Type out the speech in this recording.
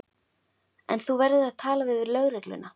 En þú verður að tala við lögregluna.